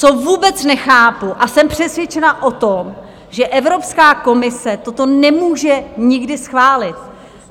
Co vůbec nechápu, a jsem přesvědčena o tom, že Evropská komise toto nemůže nikdy schválit.